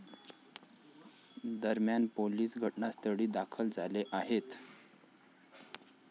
दरम्यान, पोलीस घटनास्थळी दाखल झाले आहेत.